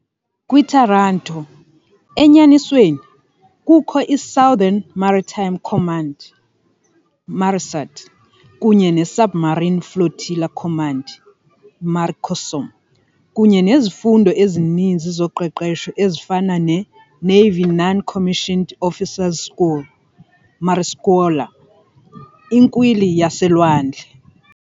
Kwi-Taranto, enyanisweni, kukho i- Southern Maritime Command, MARISUD, kunye ne- Submarine Flotilla Command, MARICOSOM, kunye nezifundo ezininzi zoqeqesho ezifana ne- Navy Non-Commissioned Officers School, MARISCUOLA, iNkwili yaselwandle.